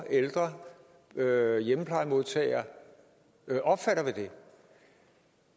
og hjemmeplejemodtager opfatter ved det